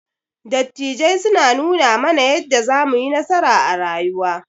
Dattijai suna nuna mana yadda zamuyi nasara a rayuwa.